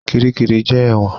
Kiríkirì jẹ́ ẹ̀wọ̀n.